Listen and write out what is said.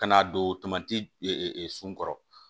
Ka n'a don tomati sunɔgɔ kɔrɔ